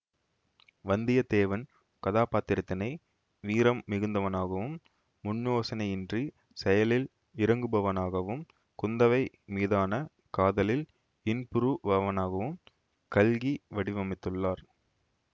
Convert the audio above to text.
வந்தியத்தேவன் கதாபாத்திரத்தினை வீரம் மிகுந்தவனாகவும் முன்யோசனையின்றிச் செயலில் இறங்குபவனாகவும் குந்தவை மீதான காதலில் இன்புறுபவனாகவும் கல்கி வடிவமைத்துள்ளார்